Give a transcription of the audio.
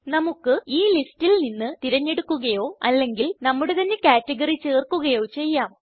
നമുക്ക് ഈ ലിസ്റ്റിൽ നിന്ന് തിരഞ്ഞെടുക്കുകയോ അല്ലെങ്കിൽ നമ്മുടെ തന്നെ കാറ്റഗറി ചേർക്കുകയോ ചെയ്യാം